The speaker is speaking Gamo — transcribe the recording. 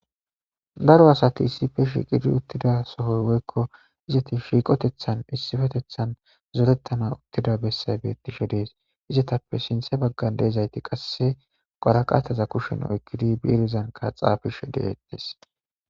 daro asati issife shiqidi uttida sohoy woykko izati shiiqotethan issifetethan zorettana uttida bessay beettishe dees izetappe sinthe baggan deezayti qase qaraqataza kushen oykkidi biirizanka xaafishe de7etes.